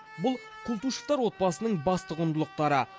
бұл култышевтар отбасының басты құндылықтары